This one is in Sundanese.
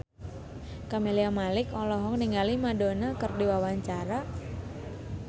Camelia Malik olohok ningali Madonna keur diwawancara